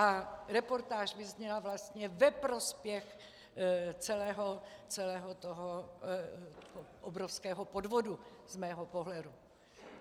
A reportáž vyzněla vlastně ve prospěch celého toho obrovského podvodu z mého pohledu.